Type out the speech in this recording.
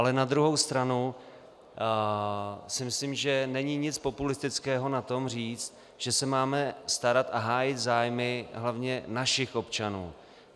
Ale na druhou stranu si myslím, že není nic populistického na tom, říct, že se máme starat a hájit zájmy hlavně našich občanů.